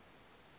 a re na ndeme a